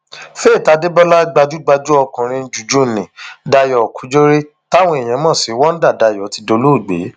faith adébọlá gbajúgbajú okòrin juju nni dayo kujore táwọn èèyàn mọ sí wonder dayo ti dolóògbé